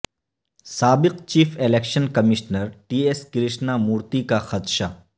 سابق chief election commissioner T S Krishna Murthy کا خدشہ